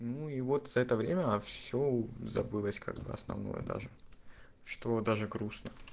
ну и вот за это время всё забылось как бы основное даже что даже грустно